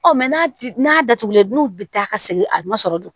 Ɔ n'a ti n'a datugulen n'u bi taa ka segin a ma sɔrɔ dun